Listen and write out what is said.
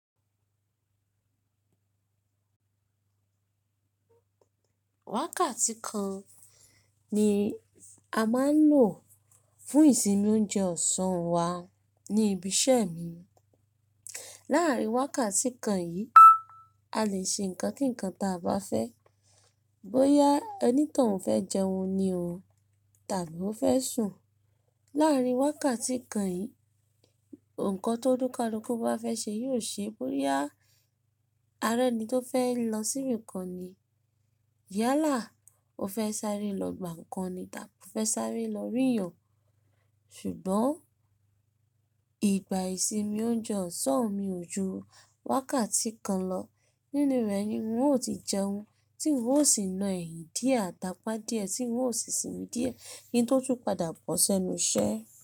Wákàtí kan ni a máa ń lò fún ìsinmi oúnjẹ ọ̀sán wa ní ibi iṣẹ́ mi. Láàárín wákàtí kan yìí, a lè ṣe nǹkan kíǹkan ta bá fẹ́, bóyá ẹni toun fẹ́ jẹun ni ọ̀ọ́ tàbí ó fẹ́ sùn. Láàárín wákàtí kan yìí, nǹkan tó onikaluku bá fẹ́ ṣe yóò ṣe, bóyá arẹni tó fẹ́ lọ sí ibìkan ni, yálà ó fẹ́ sáré lọ gbà ǹkan ni tàbí ó fẹ́ sáré lọ ríyàn. Ṣùgbọ́n ìgbà ìsinmi oúnjẹ ọ̀sán mi jù wákàtí kan lọ. Nínú rẹ̀ ni n ò tí jẹun, tí n ò sì ná ẹyin díẹ̀ tàpá díẹ̀, tí n ò sì sinmi díẹ̀ kín tó tún padà bọ́ sẹ́nu iṣẹ́